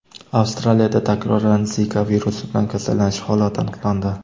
Avstraliyada takroran Zika virusi bilan kasallanish holati aniqlandi.